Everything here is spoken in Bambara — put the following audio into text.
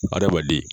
Adamaden